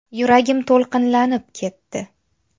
Yuragim to‘lqinlanib ketdi.